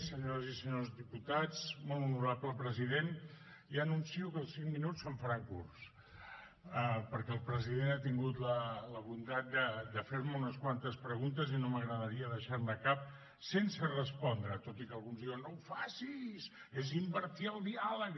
senyores i senyors diputats molt honorable president ja anuncio que els cinc minuts se’m faran curts perquè el president ha tingut la bondat de fer me unes quantes preguntes i no m’agradaria deixar ne cap sense respondre tot i que alguns diuen no ho facis és invertir el diàleg